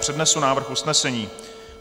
Přednesu návrh usnesení.